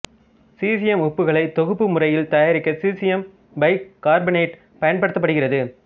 caesium உப்புகளைத் தொகுப்பு முறையில் தயாரிக்க சீசியம் பைகார்பனேட்டு பயன்படுத்தப்படுகிறது